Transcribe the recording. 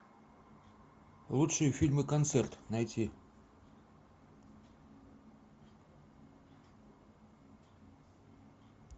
лучшие фильмы концерт найти